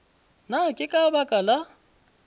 na ke ka baka la